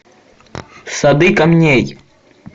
сады камней